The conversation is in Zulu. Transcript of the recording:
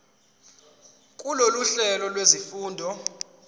kulolu hlelo lwezifundo